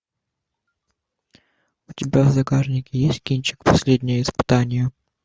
у тебя в загашнике есть кинчик последнее испытание